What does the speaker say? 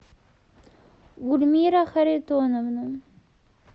гульмира харитоновна